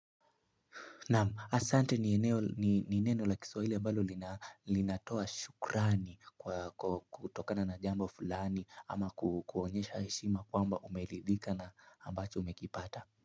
Asanti ni neno la kiswahili ambalo linatoa shukrani kutokana na jambo fulani ama kuonyesha heshima kwamba umeridhika na ambacho umekipata.